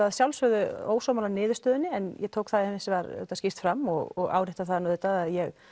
að sjálfsögðu ósammála niðurstöðunni en ég tók það hins vegar skýrt fram og árétta það auðvitað að ég